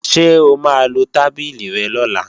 Ṣé o máa lo tábìlì rẹ lọ́la?